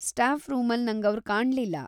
Staff ರೂಮಲ್ಲ್‌ ನಂಗವ್ರ್ ಕಾಣ್ಲಿಲ್ಲ.